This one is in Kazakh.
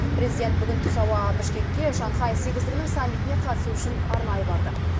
президент бүгін түс ауа бішкекке шанхай сегіздігінің саммитіне қатысу үшін арнайы барды